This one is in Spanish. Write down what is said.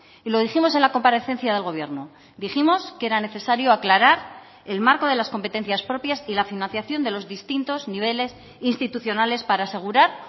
y lo dijimos en la comparecencia del gobierno dijimos que era necesario aclarar el marco de las competencias propias y la financiación de los distintos niveles institucionales para asegurar